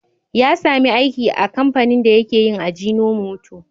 Ya sami aiki a kamfanin dake yin ajinomoto.